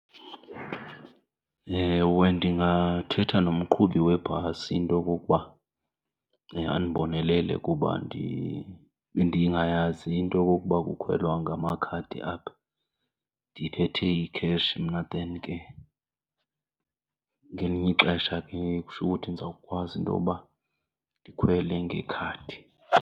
Ewe, ndingathetha nomqhubi webhasi into yokokuba andibonelele kuba bendingayazi into yokokuba kukhwelwa ngamakhadi apha ndiphethe icash mna. Then ke ngelinye ixesha ke kusho ukuthi ndizawukwazi intoba ndikhwele ngekhadi.